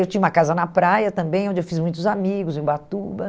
Eu tinha uma casa na praia também, onde eu fiz muitos amigos, em Ubatuba.